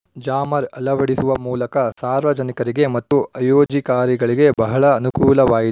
jammer ಅಳವಡಿಸುವ ಮೂಲಕ ಸಾರ್ವಜನಿಕರಿಗೆ ಮತ್ತು ಆಯೋಜಕಾರಿಗೆ ಬಹಳ ಅನನುಕೂಲವಾಯಿ